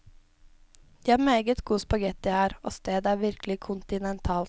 De har meget god spaghetti her, og stedet er virkelig kontinentalt.